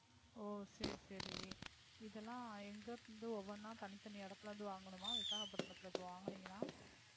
ஓ சரி, சரி. இது எல்லாம் எங்க இருந்து ஓவன்னா தனி தனி எடத்துல இருந்து வாங்கணுமா? விசாகப்பட்டினதில இப்போ வாங்கினீங்கனா